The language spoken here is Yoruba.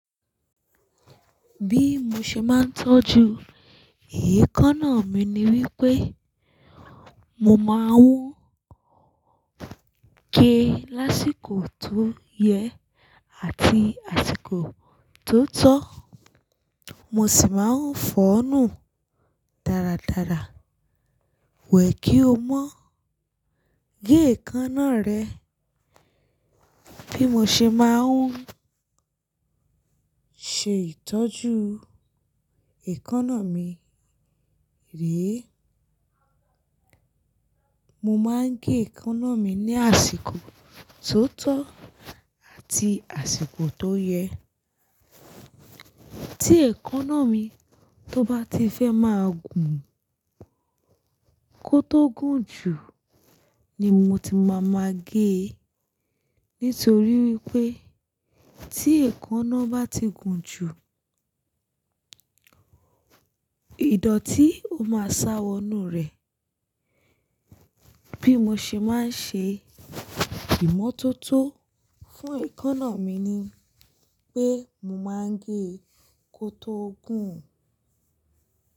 Bí mo ṣe máa ń tọ́jú èékánná mi ni wípé mo máa ń gé lásìkò tó yẹ àti àsìkò tó tọ́. Mo sì máa ń fọ̀ ọ́ nù dáradára. Wẹ̀ kí o mọ̀ gé èékánná rẹ. Bí mo ṣe máa ń ṣe ìtọ́jú èékánná mi rèé, mo máa ń gé èékánná mi ní àsìkò tó tọ́ àti àsìkò tó yẹ. Tí èékánná mi tó bá ti fẹ́ máa gùn kó tó gùn jù ni mo ti máa ma gé e. Nítorí wípé tí èékánná bá ti gùn jù, ìdọ̀tí ó máa sá wọnú rẹ. Bí mo ṣe máa ń ṣe ìmọ́tótó fún èékánná mi ni pé mo máa ń gé kó tó gùn.